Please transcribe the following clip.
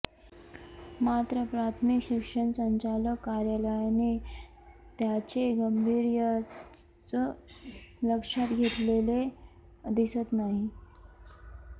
मात्र प्राथमिक शिक्षण संचालक कार्यालयाने त्याचे गांभीर्यच लक्षात घेतलेले दिसत नाही